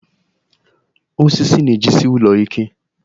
Wood holds the house strong